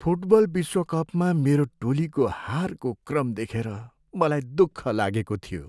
Football विश्वकपमा मेरो टोलीको हारको क्रम देखेर मलाई दुःख लागेको थियो।